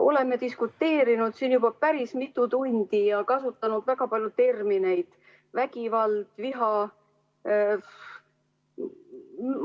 Oleme siin diskuteerinud juba päris mitu tundi ja kasutanud väga palju termineid, näiteks "vägivald" ja "viha".